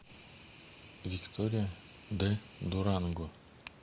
виктория де дуранго